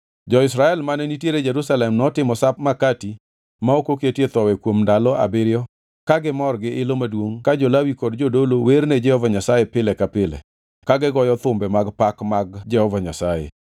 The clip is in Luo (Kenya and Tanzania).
Jo-Israel mane nitiere Jerusalem notimo Sap Makati ma ok oketie Thowi kuom ndalo abiriyo ka gimor gi-ilo maduongʼ ka jo-Lawi kod jodolo werne Jehova Nyasaye pile ka pile ka gigoyo thumbe mag pak mar Jehova Nyasaye.